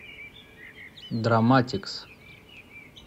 драматикс